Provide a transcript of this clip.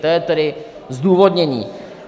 To je tedy zdůvodnění.